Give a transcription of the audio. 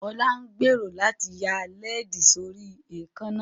Olá ń gbèrò láti ya làálí sí orí èékánná